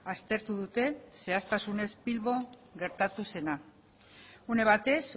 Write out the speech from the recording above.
aztertu dute zehaztasunez bilbon gertatu zena une batez